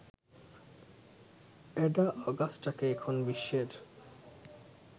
Ada অগাস্টাকে এখন বিশ্বের